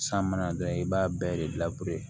San mana don i b'a bɛɛ